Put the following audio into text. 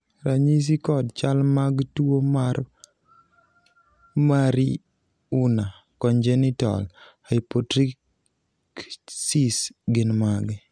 ranyisi kod chal mag tuo mar marie Unna congenital hypotrichsis gin mage?